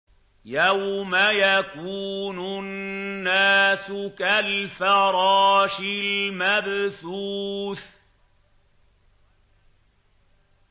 يَوْمَ يَكُونُ النَّاسُ كَالْفَرَاشِ الْمَبْثُوثِ